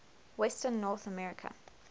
western north america